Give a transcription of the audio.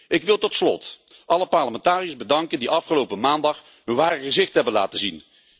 Ik wil tot slot alle parlementariërs bedanken die afgelopen maandag hun ware gezicht hebben laten zien.